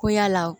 Ko yala